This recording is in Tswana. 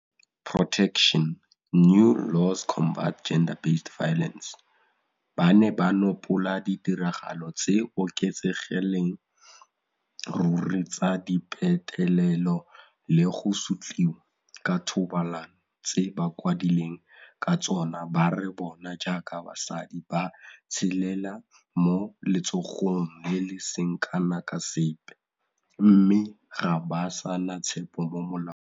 Ba ne ba nopola ditiragalo tse di oketsegelang ruri tsa dipetelelo le go sotliwa ka thobalano tse bakwadileng ka tsona ba re bona jaaka basadi ba tshelela mo letshogong le le seng kana ka sepe, mme ga ba sa na tshepo mo molaong.